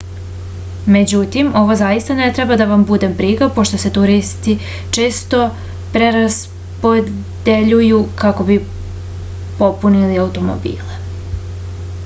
međutim ovo zaista ne treba da vam bude briga pošto se turisti često preraspodeljuju kako bi popunili automobile